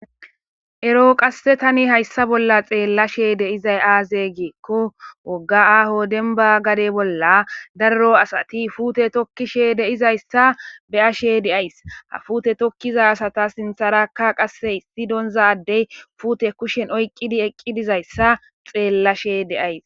ero qasse tani hayssa bolla xeellashe deizay aaze geekko wogga aaho denba gade bolla darro asati fuute tokkishe deizayssa beyashe deays ha fuute tokkiza asata sintharaka qasse issi doonza addey fuute kushen oyqqidi eqqi dizayssa xeellashe deays